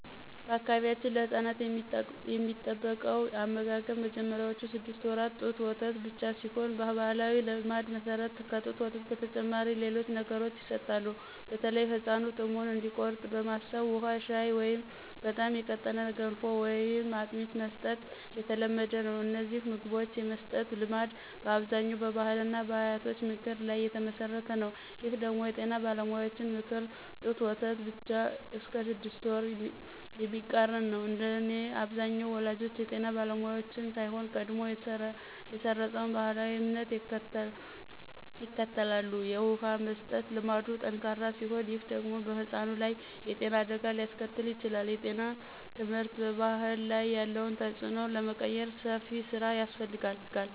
በአካባቢያችን ለሕፃናት የሚጠበቀው አመጋገብ በመጀመሪያዎቹ ስድስት ወራት ጡት ወተት ብቻ ቢሆንም፣ በባሕላዊ ልማድ መሠረት ከጡት ወተት በተጨማሪ ሌሎች ነገሮች ይሰጣሉ። በተለይም ሕፃኑ ጥሙን እንዲቆርጥ በማሰብ ውሃ፣ ሻይ ወይም በጣም የቀጠነ ገንፎ ወይም አጥሚት መስጠት የተለመደ ነው። እነዚህን ምግቦች የመስጠት ልማድ በአብዛኛው በባሕልና በአያቶች ምክር ላይ የተመሠረተ ነው። ይህ ደግሞ የጤና ባለሙያዎችን ምክር (ጡት ወተት ብቻ እስከ ስድስት ወር) የሚቃረን ነው። እንደኔ አብዛኛው ወላጆች የጤና ባለሙያዎችን ሳይሆን፣ ቀድሞ የሰረፀውን ባሕላዊ እምነት ይከተላሉ። የውሃ መስጠት ልማዱ ጠንካራ ሲሆን፣ ይህ ደግሞ በሕፃኑ ላይ የጤና አደጋ ሊያስከትል ይችላል። የጤና ትምህርት በባሕል ላይ ያለውን ተጽዕኖ ለመቀየር ሰፊ ሥራ ያስፈልጋል።